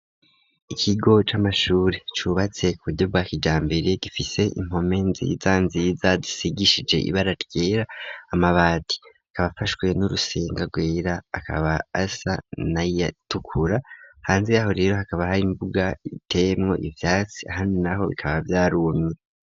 Ikigo c'amashure cubatse ku buryo bwakijambere gifise impome nziza nziza zisigishije ibara ryera amabati akaba afashwe n'urusenga gwera akaba asa naya tukura hanze yaho rero hakaba hari imbuga itemwo ivyatsi hano naho bikaba vyarumye.